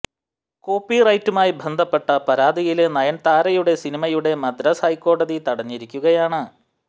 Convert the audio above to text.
copy റൈറ്റുമായി ബന്ധപ്പെട്ട പരാതിയില് നയൻതാരയുടെ സിനിമയുടെ മദ്രാസ് ഹൈക്കോടതി തടഞ്ഞിരിക്കുകയാണ്